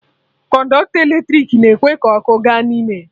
Kọnọktọ eletrik na-ekwe ka ọkụ ga n'ime ya